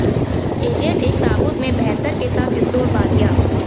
agate एक ताबूत में बेहतर के साथ स्टोर बालियां